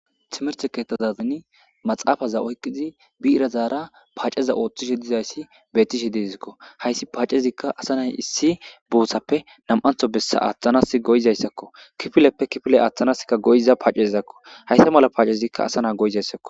Thimirththazazani maxaafatha oykkidi biirathaara paaceza ooththishe dizayssi beeththishe de7eesikoo; hayssi paacezikka asa na7i issi boothappe nam7aththo bessa aaththanaassi go7izayssakoo; kifileppe kifile aaththanaassikka go7iza paacezakkoo; haysa mala paacezikka asa na7aa go7izaysakoo.